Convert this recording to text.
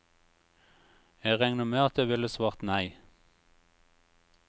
Jeg regner med at jeg ville svart nei.